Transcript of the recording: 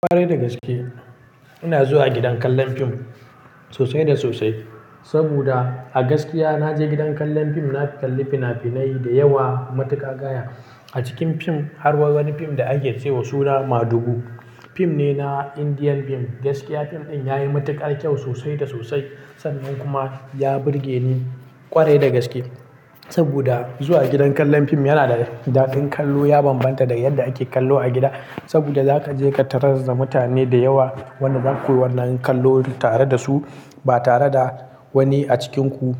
Kwarai da gaske ina zuwa gidan kallon fim sosai da sosai. Saboda a gaskiya na je gidan kallon fim, na kalli fina-finai da yawa matuƙa gaya. A cikin fim har wa wani fim da ake ce wa suna Madugu. Fim ne na Indian beam. Gaskiya fim ɗin ya yi matuƙar kyau sosai da sosai. Sannan kuma ya burge ni ƙwarai da gaske. Saboda zuwa gidan kallon fim yana da daɗin kallo. Ya bambanta da yadda ake kallo a gida. Saboda zaka je ka tarar da mutane da yawa. Wannan koya wannan kallo tare da su ba tare da wani a cikinku